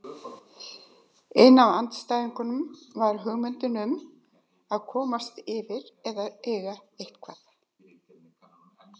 Ein af andstæðunum var hugmyndin um að komast yfir eða eiga eitthvað.